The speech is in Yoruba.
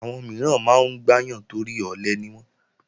Àwọn mìíràn máa ń gbáyàn torí ọ̀lẹ niwọ́n